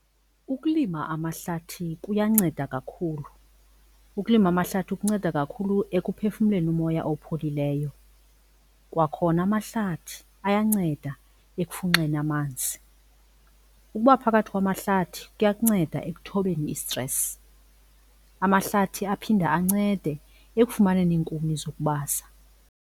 Ukulima amahlathi kuyanceda kakhulu. Ukulima amahlathi kunceda kakhulu ekuphefumleni umoya opholileyo, kwakhona amahlathi ayanceda ekufunxeni amanzi. Ukuba phakathi kwamahlathi kuyakunceda ekuthobeni istresi. Amahlathi aphinde ancede ekufumaneni iinkuni zokubasa.